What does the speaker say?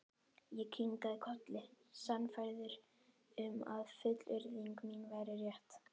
Ég kinkaði kolli, sannfærður um að fullyrðing mín væri rétt.